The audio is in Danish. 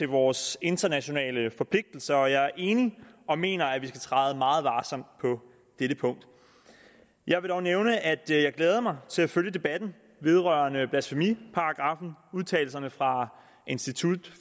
vores internationale forpligtelser jeg er enig og mener at vi skal træde meget varsomt på dette punkt jeg vil dog nævne at jeg glæder mig til at følge debatten vedrørende blasfemiparagraffen udtalelserne fra institut